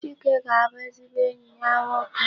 Chike ga-abụ ezigbo enyi ya nwoke.